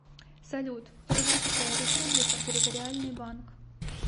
салют чувашская республика территориальный банк